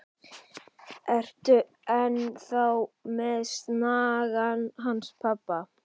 Ertu enn þá með snagann hans pabba?